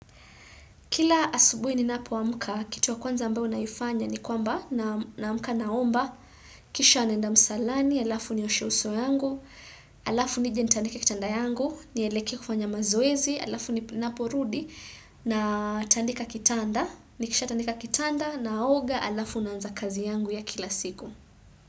Kila asubui ni napo amuka, kitu ya kwanza ambayo na yoifanya ni kwamba na amulka naomba, kisha anenda msalani, alafu ni oshe uso yangu, alafu ni jentanika kitanda yangu, ni eleke kufanya mazoezi, alafu ni napo rudi, na tandika kitanda, ni kisha tandika kitanda na aoga alafu na anza kazi yangu ya kila siku.